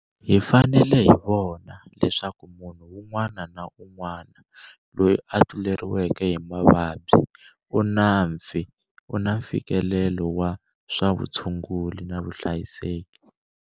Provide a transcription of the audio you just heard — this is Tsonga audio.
Hi fanele hi vona leswaku munhu wun'wana na wun'wana loyi a tluleriweke hi mavabyi u na mfikelelo wa swa vutshunguri na vuhlayiseki.